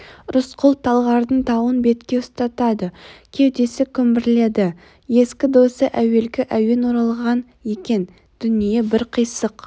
рысқұл талғардың тауын бетке ұстады кеудесі күмбірледі ескі досы әуелгі әуен оралған екен дүние бір қисық